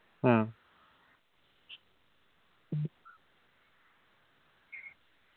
ആ